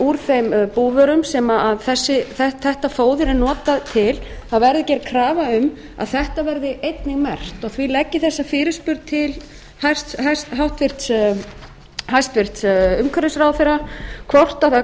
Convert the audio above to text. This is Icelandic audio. úr þeim búvörum sem þetta fóður er notað til verði einnig merkt því ber ég þá fyrirspurn til hæstvirts umhverfisráðherra hvort til greina